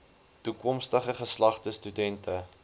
toekomstige geslagte studente